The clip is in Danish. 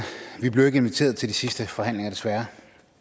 vi blev ikke inviteret til de sidste forhandlinger desværre